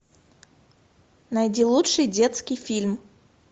найди лучший детский фильм